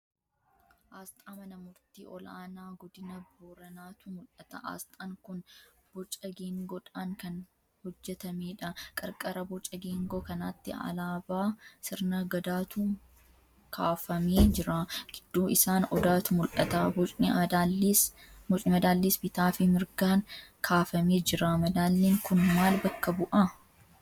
Aasxaa Mana Murtii Ol'aanaa Godina Booranaatu mul'ata. Aasxaan kun boca geengoodhaan kan hojjetameedha. Qarqara boca geengoo kanaatti alaabaa sirna Gadaatu kaafamee jira. Gidduu isaan Odaatu mul'ata. Bocni madaalliis bitaafi mirgaan kaafamee jira. Madaalliin kun maal bakka bu'a?